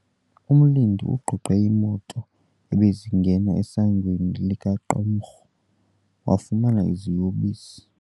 Umlindi ugqogqe iimoto ebezingena esangweni lequmrhu, wafumana iziyobisi.